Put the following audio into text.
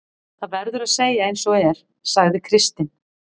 Það verður að segja eins og er, sagði Kristinn.